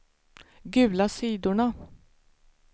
gula sidorna